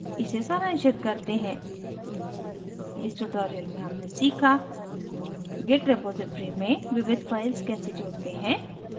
इसे सारांशित करते हैं इस tutorial में हमने सीखा: git repository में विविध files कैसे जोड़ते हैं